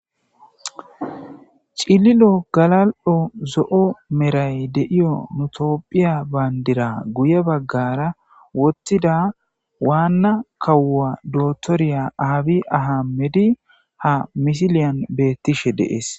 Ciililo galalo zo'o merray deiya nu tophphiya banddira guuye baggara woththida waana kawo dotoriya abby ahimedey ha missilen bettishe dessi.